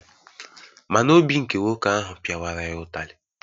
Ma na obi nke nwoke ahụ piawara ya ụtarị.